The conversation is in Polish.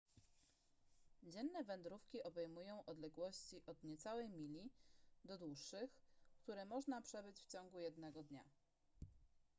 dzienne wędrówki obejmują odległości od niecałej mili do dłuższych które można przebyć w ciągu jednego dnia